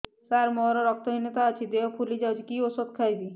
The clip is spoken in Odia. ସାର ମୋର ରକ୍ତ ହିନତା ଅଛି ଦେହ ଫୁଲି ଯାଉଛି କି ଓଷଦ ଖାଇବି